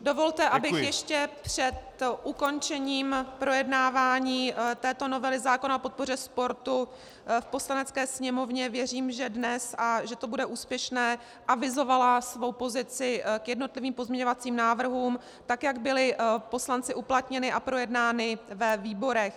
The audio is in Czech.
Dovolte, abych ještě před ukončením projednávání této novely zákona o podpoře sportu v Poslanecké sněmovně - věřím, že dnes a že to bude úspěšné - avizovala svou pozici k jednotlivým pozměňovacím návrhům, tak jak byly poslanci uplatněny a projednány ve výborech.